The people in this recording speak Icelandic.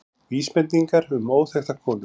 Vísbendingar um óþekkta konu